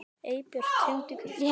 Eybjört, hringdu í Kristrúnu.